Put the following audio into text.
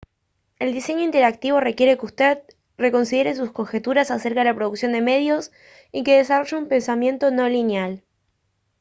el diseño interactivo requiere que usted reconsidere sus conjeturas acerca de la producción de medios y que desarrolle un pensamiento no lineal